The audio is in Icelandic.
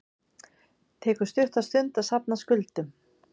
Tekur stutta stund að safna skuldum